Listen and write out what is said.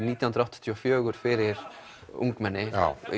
nítján hundruð áttatíu og fjögur fyrir ungmenni